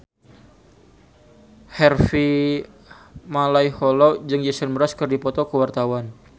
Harvey Malaiholo jeung Jason Mraz keur dipoto ku wartawan